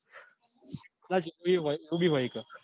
હોય કદાચ એવું બી હોય એવું બી હોય એક.